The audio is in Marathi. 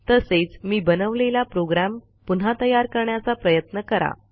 तसेच मी बनवलेला प्रोग्रॅम पुन्हा तयार करण्याचा प्रयत्न करा